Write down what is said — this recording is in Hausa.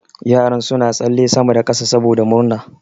Yaran suna tsalle sama da kasa saboda murna.